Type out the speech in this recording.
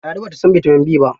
Ladi ba ta san bitamin B ba.